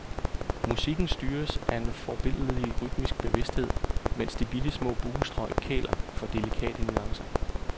Musikken styres af en forbilledlig rytmisk bevidsthed, mens de bittesmå buestrøg kæler for delikate nuancer.